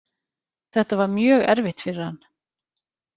Þetta var mjög erfitt fyrir hann.